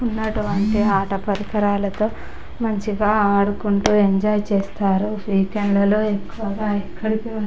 ఉన్నటువంటి అట పరికరాలతో మంచిగా ఆడుకుంటూఎంజాయ్ చేస్తారు.వీకెండ్ లలో ఎక్కువగా ఎక్కడికి--